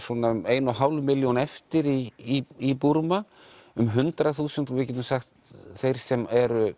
svona ein og hálf milljón eftir í Búrma um hundrað þúsund og við getum sagt þeir sem eru